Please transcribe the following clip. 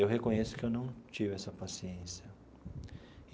Eu reconheço que eu não tive essa paciência.